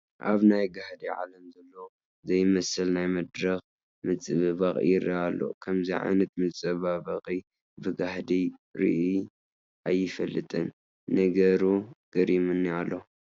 ኣብ ናይ ጋህዲ ዓለም ዘሎ ዘይመስል ናይ መድረኽ ምፅብባቕ ይርአ ኣሎ፡፡ ከምዚ ዓይነት ምፅብባቕ ብጋህዲ ርኢ ኣይፈልጥን፡፡ ነገሩ ገሪሙኒ ኣሎ፡፡